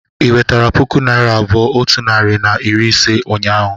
ị nwetere puku naịra abụọ otu narị na iri ise ụnyahụ?